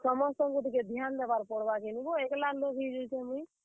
ସମସ୍ତଙ୍କୁ ଟିକେ ଧ୍ୟାନ୍ ଦେବାର୍ ପଡ୍ ବା କିନି ବୋ ଟିକେ ଏକ୍ ଲା ଲୋକ୍ ହେଇଯାଉଛେଁ ମୁଇଁ।